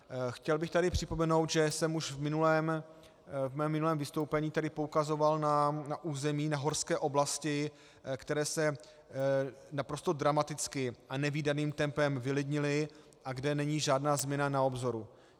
Chtěl bych tady připomenout, že jsem už ve svém minulém vystoupení tady poukazoval na území, na horské oblasti, které se naprosto dramaticky a nevídaným tempem vylidnily a kde není žádná změna na obzoru.